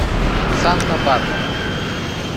санта барбара